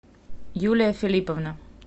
юлия филипповна